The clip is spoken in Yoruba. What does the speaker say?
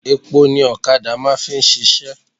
Epo ni ọ̀kadà máà ń fi ṣiṣẹ́.